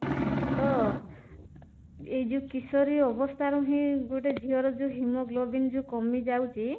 ତ ଏଇ ଯୋଉ କିଶୋରୀ ଅବସ୍ଥା ରୁ ହିଁ ଗୋଟେ ଝିଅର haemoglobin ଯୋଉ କମି ଯାଉଛି